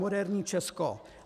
Moderní Česko.